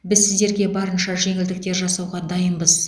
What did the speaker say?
біз сіздерге барынша жеңілдіктер жасауға дайынбыз